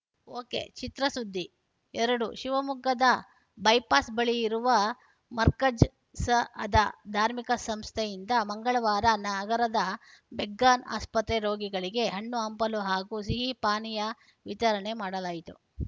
ಒಕೆಚಿತ್ರಸುದ್ದಿ ಎರಡು ಶಿವಮೊಗ್ಗದ ಬೈಪಾಸ್‌ ಬಳಿ ಇರುವ ಮರ್ಕಝ್‌ ಸಅದಃ ಧಾರ್ಮಿಕ ಸಂಸ್ಥೆಯಿಂದ ಮಂಗಳವಾರ ನಗರದ ಮೆಗ್ಗಾನ್‌ ಆಸ್ಪತ್ರೆ ರೋಗಿಗಳಿಗೆ ಹಣ್ಣು ಹಂಪಲು ಹಾಗೂ ಸಿಹಿ ಪಾನೀಯ ವಿತರಣೆ ಮಾಡಲಾಯಿತು